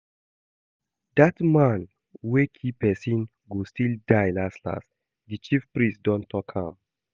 That man wey kee person go still die las las, the chief priest don talk am